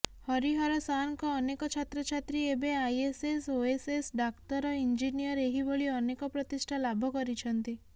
ହରିହର ସାର୍ଙ୍କ ଅନେକ ଛାତ୍ରଛାତ୍ରୀ ଏବେ ଆଇଏଏସ ଓଏଏସ ଡାକ୍ତର ଇଂଜିନିୟର ଏହିଭଳି ଅନେକ ପ୍ରତିଷ୍ଠା ଲାଭ କରିଛନ୍ତି